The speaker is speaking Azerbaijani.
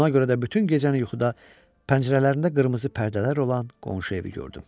Buna görə də bütün gecəni yuxuda pəncərələrində qırmızı pərdələr olan qonşu evi gördüm.